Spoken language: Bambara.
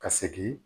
Ka segin